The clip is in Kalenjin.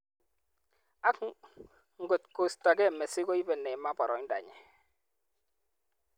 AK ngot koistogei Messi koibei Neymar boroindanyi.